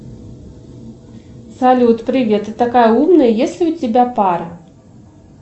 салют привет ты такая умная есть ли у тебя пара